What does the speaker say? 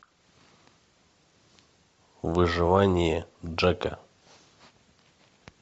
выживание джека